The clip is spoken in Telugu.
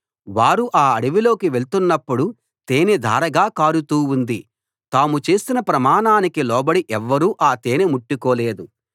వారు ఆ అడవిలోకి వెళ్తున్నప్పుడు తేనె ధారగా కారుతూ ఉంది తాము చేసిన ప్రమాణానికి లోబడి ఎవ్వరూ ఆ తేనె ముట్టుకోలేదు